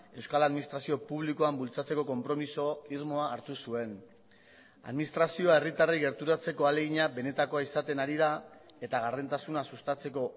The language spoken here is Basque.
euskal administrazio publikoan bultzatzeko konpromiso irmoa hartu zuen administrazioa herritarrei gerturatzeko ahalegina benetakoa izaten ari da eta gardentasuna sustatzeko